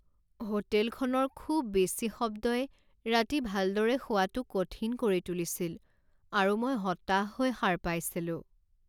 হোটেলখনৰ খুব বেছি শব্দই ৰাতি ভালদৰে শুৱাটো কঠিন কৰি তুলিছিল আৰু মই হতাশ হৈ সাৰ পাইছিলো।